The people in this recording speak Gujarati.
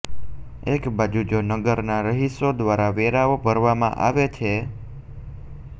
એકબાજુ જો નગરના રહીશો દ્વારા વેરાઓ ભરવામાં આવે છે